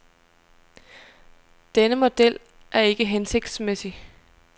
Denne model er ikke hensigtsmæssig.